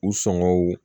U sɔngɔw